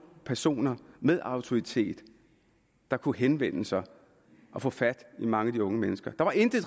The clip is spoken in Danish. personer med autoritet der kunne henvende sig og få fat i mange af de unge mennesker der var intet